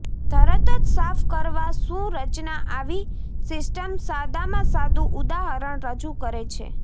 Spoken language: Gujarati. તરત જ સાફ કરવા શું રચના આવી સિસ્ટમ સાદામાં સાદું ઉદાહરણ રજૂ કરે છે